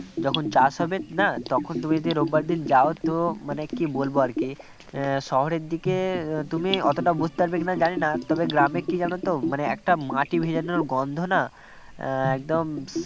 যখন চাষ হবে না তখন তুমি যদি রোববার দিন যাও তো মানে কি বলবো আর কি শহরের দিকে তুমি অতটা বুঝতে পারবে কি না জানি না তবে গ্রামে কী জানো তো মানে একটা মাটি ভেজানোর গন্ধ না একদম